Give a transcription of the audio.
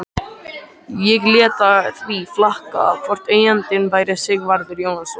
Ég lét því flakka hvort eigandinn væri Sigvarður Jónasson.